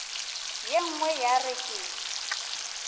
ye nngwe ya re ke